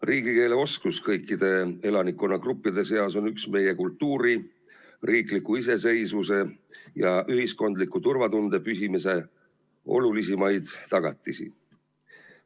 Riigikeeleoskus kõikide elanikkonnagruppide seas on üks meie kultuuri, riikliku iseseisvuse ja ühiskondliku turvatunde püsimise olulisimaid tagatisi.